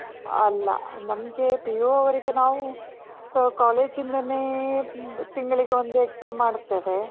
ಅಲ್ಲ. ನಮ್ಗೆ PU ಅವರಿಗೆ ನಾವು, ಅಹ್ college ಇಂದಾನೇ ತಿಂಗಳಿಗೆ ಒಂದು exam ಮಾಡ್ತೇವೆ.